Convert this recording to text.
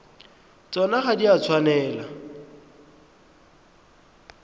tsona ga di a tshwanela